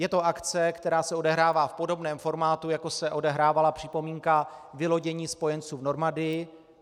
Je to akce, která se odehrává v podobném formátu, jako se odehrávala připomínka vylodění spojenců v Normandii.